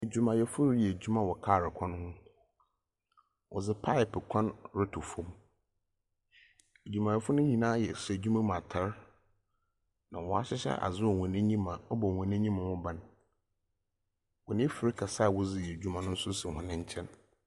Edwumayɛfo reyɛ edwuma wɔ kaar kwan ho, wɔdze pipe kwan roto famu, edwumayɛfo no nyina yɛ hyɛ edwuma mu atar, na wɔahyehyɛ adze wɔ hɔn enyim a ɔbɔ hɔn enyim ho ban, hɔn efir kɛse a wɔdze yɛ edwuma no so si hɔn nkyɛn.